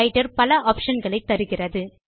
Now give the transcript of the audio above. writer பல option களை தருகிறது